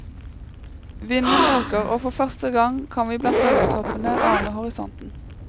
Vinden øker og for første gang kan vi blant bølgetoppene ane horisonten.